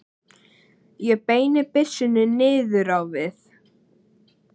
Ég beini byssunni niður á við.